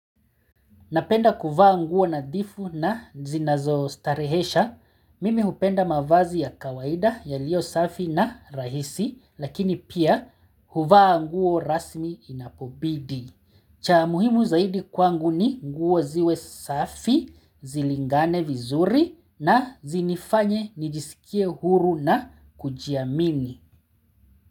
Napenda kuvaa nguo nadhifu na zinazo starehesha, mimi hupenda mavazi ya kawaida yalio safi na rahisi lakini pia huvaa nguo rasmi inapobidi. Cha muhimu zaidi kwangu ni nguo ziwe safi, zilingane vizuri na zinifanye nijisikie huru na kujiamini.